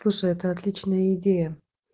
слушай а это отличная идея